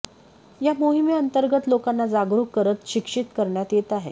या मोहिमेअंतर्गत लोकांना जागरुक करत शिक्षित करण्यात येत आहे